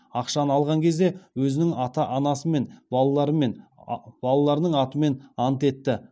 ақшаны алған кезде өзінің ата анасымен балаларының атымен ант етті